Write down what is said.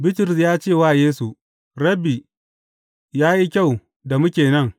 Bitrus ya ce wa Yesu, Rabbi, ya yi kyau da muke nan.